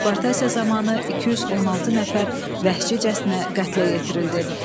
Deportasiya zamanı 216 nəfər vəhşicəsinə qətlə yetirildi.